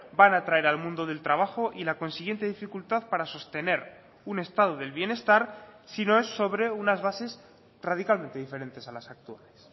van a traer al mundo del trabajo y la consiguiente dificultad para sostener un estado del bienestar si no es sobre unas bases radicalmente diferentes a las actuales